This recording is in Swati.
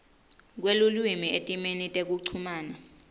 kwelulwimi etimeni tekuchumana